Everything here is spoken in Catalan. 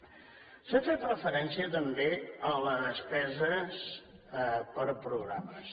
s’ha fet referència també a la despesa per programes